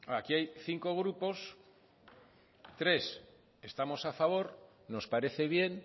aquí hay cinco grupos tres estamos a favor nos parece bien